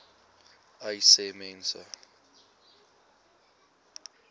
uys sê mense